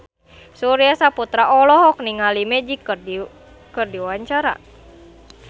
Surya Saputra olohok ningali Magic keur diwawancara